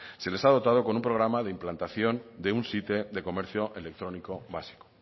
se les ha dotado con un programa de implantación de un site de comercio electrónico vasco